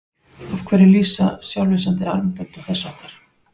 Af hverju lýsa sjálflýsandi armbönd og þess háttar?